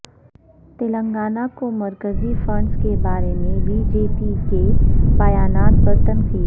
تلنگانہ کو مرکزی فنڈس کے بارے میں بی جے پی کے بیانات پر تنقید